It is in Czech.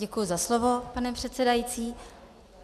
Děkuji za slovo, pane předsedající.